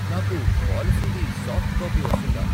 నాకు పాలసీది soft copy వస్తుందా?